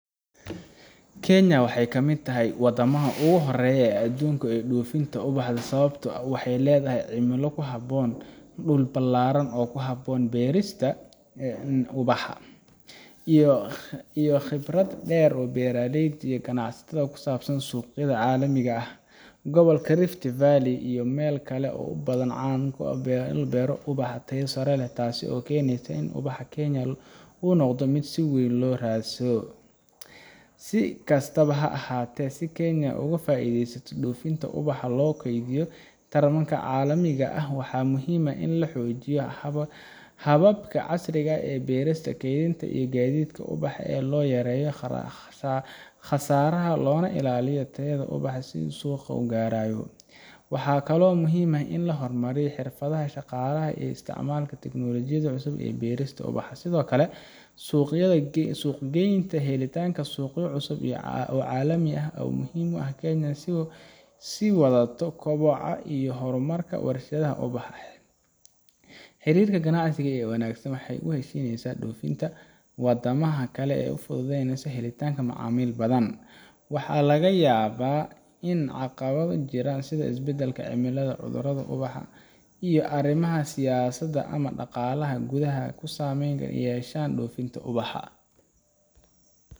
Kenya waxay ka mid tahay wadamada ugu horeeya adduunka ee dhoofinta ubaxa sababtoo ah waxay leedahay cimilo ku habboon, dhul ballaaran oo ku habboon beerista ubaxa, iyo khibrad dheer oo beeraleyda iyo ganacsatada ku saabsan suuqyada caalamiga ah. Gobolka Rift Valley iyo meelo kale oo badan ayaa caan ku ah beero ubax oo tayo sare leh taasoo keenaysa in ubaxa Kenya uu noqdo mid si weyn loo raadsado. Si kastaba ha ahaatee, si Kenya ay uga sii faa’iideysato dhoofinta ubaxa loona kordhiyo tartankeeda caalamiga ah, waxaa muhiim ah in la xoojiyo hababka casriga ah ee beerista, kaydinta, iyo gaadiidka ubaxa si loo yareeyo khasaaraha loona ilaaliyo tayada ubaxa inta uu suuqa gaarayo. Waxaa kaloo muhiim ah in la hormariyo xirfadaha shaqaalaha iyo in la isticmaalo teknolojiyadda cusub ee beerista ubaxa. Sidoo kale, suuq-geynta iyo helitaanka suuqyo cusub oo caalami ah ayaa muhiim u ah in Kenya ay sii wadato koboca iyo horumarka warshadaha ubaxa. Xiriirka ganacsi ee wanaagsan iyo heshiisyada dhoofinta ee wadamada kale ayaa fududeyn kara helitaanka macaamiil badan. Waxaa laga yaabaa in caqabado jira sida isbedelka cimilada, cudurada ubaxa, iyo arrimaha siyaasadda ama dhaqaalaha gudaha ay saameyn ku yeeshaan dhoofinta ubaxa